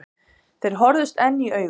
Þeir horfðust enn í augu.